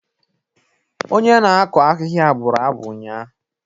Onye na-akụ ahịhịa bụrụ abụ ụnyaahụ.